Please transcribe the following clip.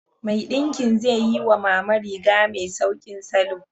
Mai ɗinki zai yi wa Mama riga mai sauƙin salo.